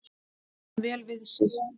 Kann vel við sig